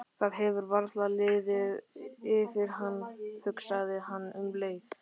Það hefur varla liðið yfir hann, hugsaði hann um leið.